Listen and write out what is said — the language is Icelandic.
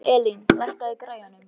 Elín, lækkaðu í græjunum.